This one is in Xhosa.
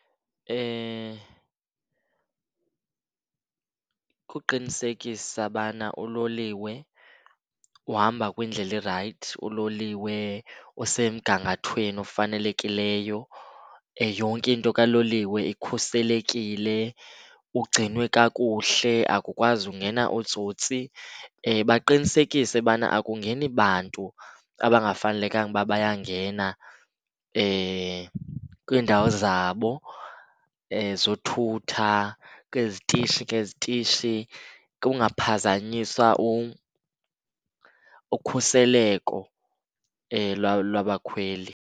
Kukuqinisekisa ubana uloliwe uhamba kwiindlela erayithi, uloliwe usemgangathweni ofanelekileyo, yonke into kaloliwe ikhuselekile, ugcinwe kakuhle, akukwazi ungena ootsotsi. Baqinisekise ubana akungeni bantu abangafanelekanga uba bayangena kwiindawo zabo ezothutha, kwizitishi ngezitishi, kungaphazanyiswa ukhuseleko labakhweli.